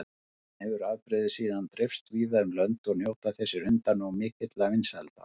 Þaðan hefur afbrigðið síðan dreifst víða um lönd og njóta þessir hundar nú mikilla vinsælda.